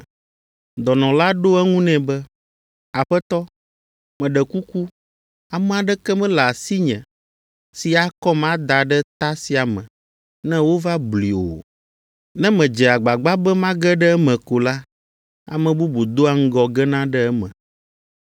Dɔnɔ la ɖo eŋu nɛ be, “Aƒetɔ, meɖe kuku ame aɖeke mele asinye si akɔm ada ɖe ta sia me ne wova blui o. Ne medze agbagba be mage ɖe eme ko la, ame bubu doa ŋgɔ gena ɖe eme.”